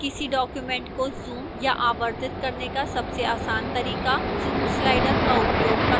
किसी document को zoom या आवर्धित करने का सबसे आसान तरीका zoom slider का उपयोग करना है